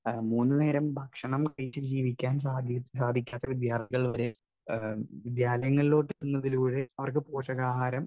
speaker 1 മൂന്നുനേരം ഭക്ഷണം കഴിച്ചുജീവിക്കാൻ സാധിക്കാത്ത വിദ്യാർഥികൾ വരെ വിദ്യാലങ്ങളിലേക്ക് എത്തുന്നതോടെ അവർക്ക് പോഷകാഹാരം